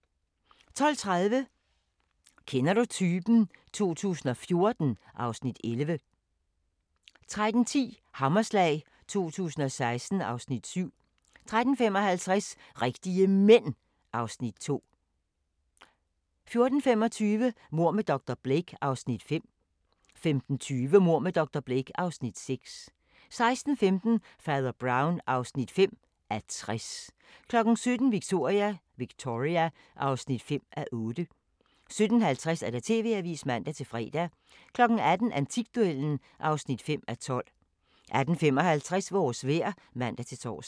12:30: Kender du typen? 2014 (Afs. 11) 13:10: Hammerslag 2016 (Afs. 7) 13:55: Rigtige Mænd (Afs. 2) 14:25: Mord med dr. Blake (Afs. 5) 15:20: Mord med dr. Blake (Afs. 6) 16:15: Fader Brown (5:60) 17:00: Victoria (5:8) 17:50: TV-avisen (man-fre) 18:00: Antikduellen (5:12) 18:55: Vores vejr (man-tor)